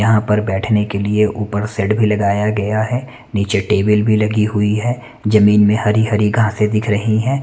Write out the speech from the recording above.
यहाँ पर बैठने के लिए उपर शेड भी लगाया गया है नीचे टेबल भी लगी हुई है जमीन में हरी-हरी घसे दिख रही हैं।